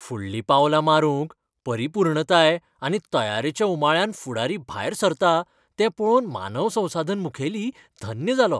फुडलीं पावलां मारूंक परिपूर्णताय आनी तयारेच्या उमाळ्यान फुडारी भायर सरता तें पळोवन मानव संसाधन मुखेली धन्य जालो.